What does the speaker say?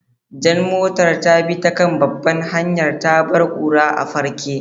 Jan motar ta bi ta kan babbar hanya, ta bar kura a farke.